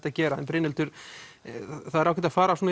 að gera Brynhildur það er ágætt að fara